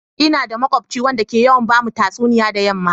Ina da makubci wanda ke yawan ba mu tatsuniya da yamma.